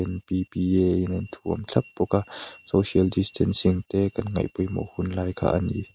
in a inthuam thlap bawk a social distancing te kan ngaih pawimawh hunlai kha a ni.